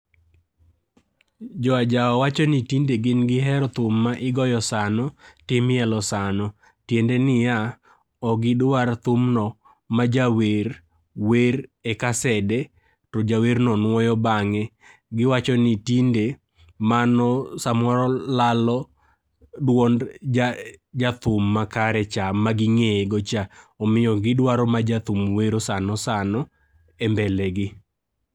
Jo ajawa wacho ni tinde gin gihero thum ma igoyo sano, to imielo sano. Tiende niya, ok gidwar thumno ma jawer wer e kasede to jawerno nuoyo bang'e. Giwacho ni tinde, mano samoro lalo duond jathum makarecha maging'eyegocha .Omiyo gidwaro ma jathum wero sanosano, e mbele gi.